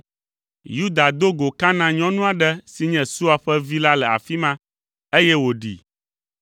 Yuda do go Kanaan nyɔnu aɖe si nye Sua ƒe vi la le afi ma, eye wòɖee.